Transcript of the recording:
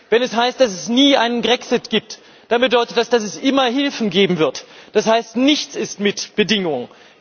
Wenn es heißt, dass es nie einen Grexit gibt, dann bedeutet das, dass es immer Hilfen geben wird Das heißt Nichts ist mit Bedingungen.